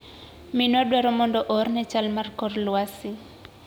Minwa dwaro mondo oorne chal mar kor lwasi.